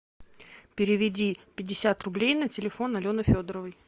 переведи пятьдесят рублей на телефон алены федоровой